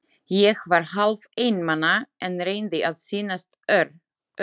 Ég var hálf einmana, en reyndi að sýnast ör- ugg.